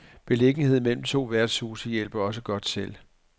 Beliggenheden mellem to værtshuse hjælper også godt til.